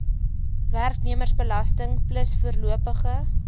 werknemersbelasting plus voorlopige